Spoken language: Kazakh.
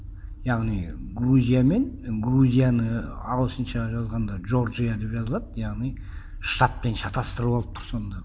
яғни грузия мен грузияны ағылшынша жазғанда джорджия деп жазылады яғни штатпен шатастырып алып тұр сонда